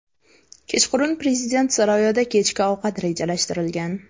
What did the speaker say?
Kechqurun prezident saroyida kechki ovqat rejalashtirilgan.